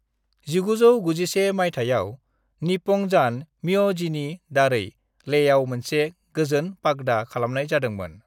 1991 मायथाइआव निप्पंजान म्यहजीनि दारै लेहआव मोनसे गोजोन पगडा(?) खालामनाय जादोंमोन।